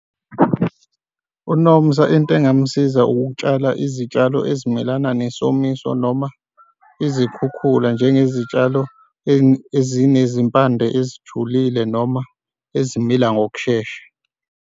UNomusa into engamsiza ukutshala izitshalo ezimelana nesomiso noma izikhukhula njenge zitshalo ezinezimpande ezijulile noma ezimila ngokushesha.